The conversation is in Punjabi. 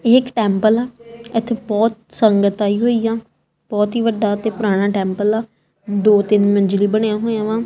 ਏਹ ਇੱਕ ਟੈਂਪਲ ਆ ਏੱਥੇ ਬੋਹੁਤ ਸੰਗਤ ਆਈ ਹੋਈ ਆ ਬੋਹੁਤ ਹੀ ਵੱਡਾ ਤੇ ਪੁਰਾਨਾ ਟੈਂਪਲ ਆ ਦੋ ਤਿੰਨ ਮੰਜ਼ਿਲੀ ਬਣਿਆ ਹੋਏ ਆ ਵਾਂ।